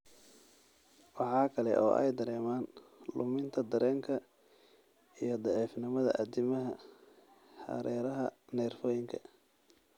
Waxa kale oo ay dareemaan luminta dareenka iyo daciifnimada addimada (hereeraha nerfoyinka).